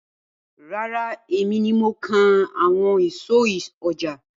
Rárá, èmi ni mo kan àwọn ìsọ̀ ọjà.